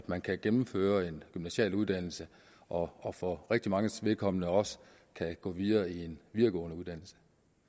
man kan gennemføre en gymnasial uddannelse og og for rigtig manges vedkommende også kan gå videre i en videregående uddannelse